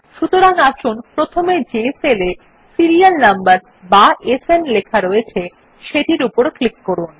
সুতরাং আসুন প্রথমে যে সেলে সিরিয়াল নাম্বার বা সান লেখা রয়েছে সেটির উপর ক্লিক করুন